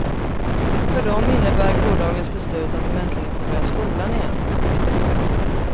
För dem innebär gårdagens beslut att de äntligen får börja skolan igen.